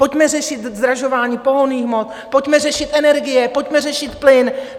Pojďme řešit zdražování pohonných hmot, pojďme řešit energie, pojďme řešit plyn!